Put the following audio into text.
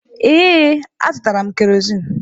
Ee, azụtara m kerozin.